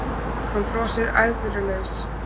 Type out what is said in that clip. Hann brosir æðrulaus.